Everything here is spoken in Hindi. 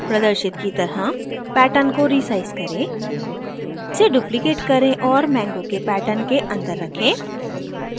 प्रदर्शित की तरह pattern को resize करें इसे duplicate करें और mango के pattern के अंदर रखें